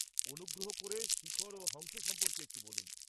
-অনুগ্রহ করে শিখর ও হংস সম্পর্কে একটু বলুন।